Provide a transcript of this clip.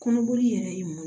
Kɔnɔboli yɛrɛ ye mun